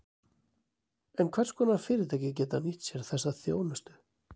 En hvers konar fyrirtæki geta nýtt sér þessa þjónustu?